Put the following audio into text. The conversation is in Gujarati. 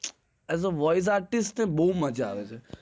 as voice artist મને બોજ મજ્જા આવે છે